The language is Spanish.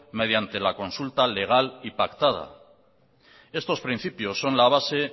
mediante la consulta legal y pactada estos principios son la base